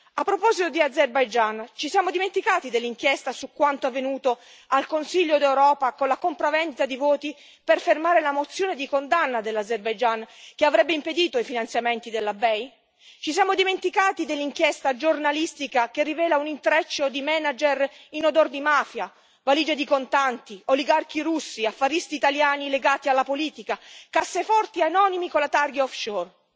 A proposito di Azerbaigian, ci siamo dimenticati dell'inchiesta su quanto è avvenuto al Consiglio d'Europa con la compravendita di voti per fermare la mozione di condanna dell'Azerbaigian, che avrebbe impedito i finanziamenti della BEI? Ci siamo dimenticati dell'inchiesta giornalistica che rivela un intreccio di manager in odor di mafia, valige di contanti, oligarchi russi, affaristi italiani legati alla politica, casseforti anonime con la targa off shore